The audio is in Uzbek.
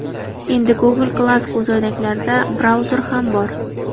Endi Google Glass ko‘zoynaklarida brauzer ham bor.